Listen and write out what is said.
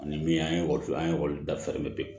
Ani min an ye an ye ekɔli dafalen